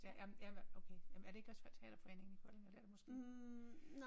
Ja jamen ja okay jamen er det også teaterforeningen i Kolding eller det er det måske ikke